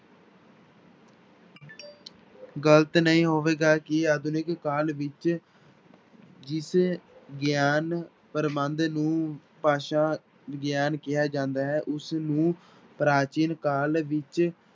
ਗ਼ਲਤ ਨਹੀਂ ਹੋਵੇਗਾ ਕਿ ਆਧੁਨਿਕ ਕਾਲ ਵਿੱਚ ਜਿਸ ਗਿਆਨ ਪ੍ਰਬੰਧ ਨੂੰ ਭਾਸ਼ਾ ਵਿਗਿਆਨ ਕਿਹਾ ਜਾਂਦਾ ਹੈ ਉਸਨੂੰ ਪ੍ਰਾਚੀਨ ਕਾਲ ਵਿੱਚ